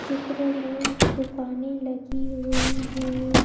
चित्र में दुकानें लगी हुई है।